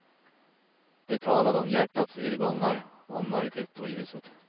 De talade om hjärtats irrgångar, och om mörkret och ljuset.